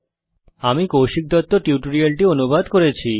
আমি কৌশিক দত্ত এই টিউটোরিয়ালটি অনুবাদ করেছি